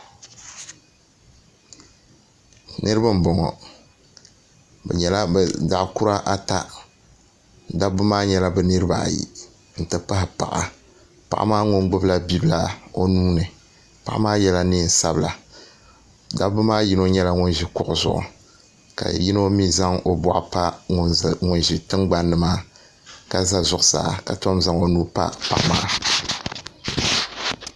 Naraba n boŋɔ bi nyɛla bi zaɣ' kura ata dabba maa nyɛla bi niribaayi n ti pahi paɣa paɣa maa ŋun gbubila bibila o nuini paɣa maa yɛla neen sabila dabba maa ni yino nyɛla ŋun ʒi kuɣu zuɣu ka yino mii zaŋ o boɣu pa ŋun ʒi tiŋgbanni maa ka ʒɛ zuɣusaa ka tom zaŋ o nuu pa paɣa maa